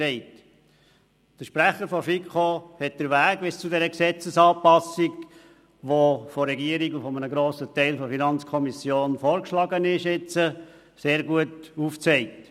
Der Sprecher der FiKo hat den Weg bis zu dieser Gesetzesanpassung, die die Regierung und ein Grossteil der FiKo jetzt vorschlagen, sehr gut aufgezeigt.